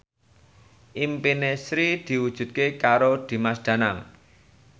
impine Sri diwujudke karo Dimas Danang